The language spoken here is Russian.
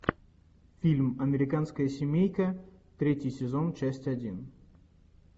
фильм американская семейка третий сезон часть один